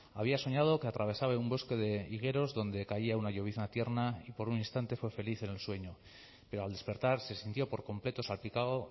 había soñado que atravesaba un bosque de higueros donde caía una llovizna tierna y por un instante fue feliz en el sueño pero al despertar se sintió por completo salpicado